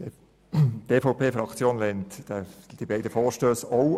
Die EVP-Fraktion lehnt beide Vorstösse ab.